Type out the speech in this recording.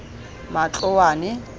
matloane